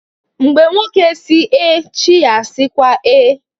Mgbe nwoke sị ee, chi ya na-asịkwa ee